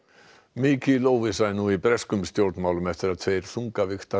mikil óvissa er nú í breskum stjórnmálum eftir að tveir